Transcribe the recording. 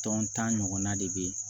Tɔn tan ɲɔgɔnna de bɛ yen